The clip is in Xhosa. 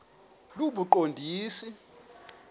lobuqondisi